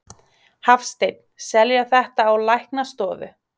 Hafsteinn: Selja þetta á læknastofur?